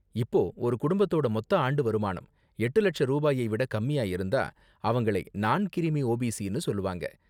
இப்போ, ஒரு குடும்பத்தோட மொத்த ஆண்டு வருமானம் எட்டு லட்ச ரூபாயை விட கம்மியா இருந்தா, அவங்களை நான் கிரீமி ஓபிசினு சொல்லுவாங்க.